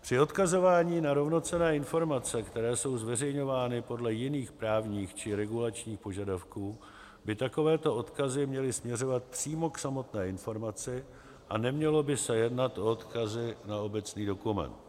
Při odkazování na rovnocenné informace, které jsou zveřejňovány podle jiných právních či regulačních požadavků, by takovéto odkazy měly směřovat přímo k samotné informaci, a nemělo by se jednat o odkazy na obecný dokument.